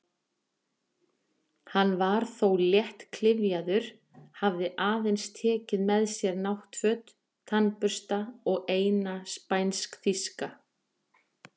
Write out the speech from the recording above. Hann var þó léttklyfjaður, hafði aðeins tekið með sér náttföt, tannbursta og eina spænsk-þýska